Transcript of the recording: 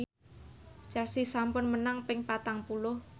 Chelsea sampun menang ping patang puluh